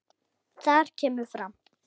Þar kemur fram